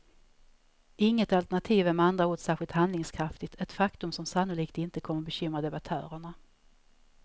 Inget alternativ är med andra ord särskilt handlingskraftigt, ett faktum som sannolikt inte kommer bekymra debattörerna.